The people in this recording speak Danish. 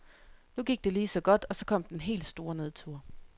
Nu gik det lige så godt, og så kom den helt store nedtur.